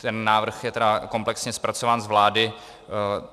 Ten návrh je tedy komplexně zpracován z vlády.